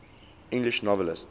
english novelists